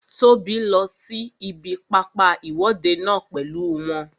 Tóbi lọ sí ibi pápá ìwọ́de náà pèlú wọn